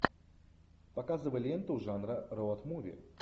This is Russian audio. показывай ленту жанра роуд муви